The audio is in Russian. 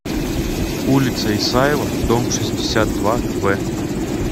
улица исаева дом шестьдесят два в